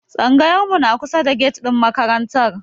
Tsangayar mu na kusa da get ɗin makarantar.